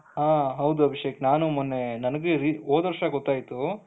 ಹ ಹೌದು ಅಭಿಷೇಕ್ ನಾನೂ ಮೊನ್ನೆ ನನಗೂ ಓದು ವರ್ಷ ಗೊತ್ತಾಯ್ತು,